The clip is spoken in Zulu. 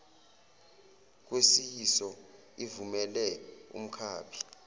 kwesiyiso ivumele umkhaphi